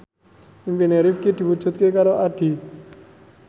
impine Rifqi diwujudke karo Addie